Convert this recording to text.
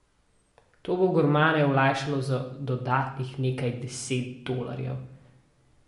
To bo gurmane olajšalo za dodatnih nekaj deset dolarjev.